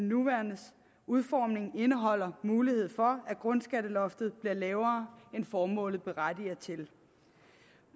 nuværende udformning indeholder mulighed for at grundskatteloftet bliver lavere end formålet berettiger til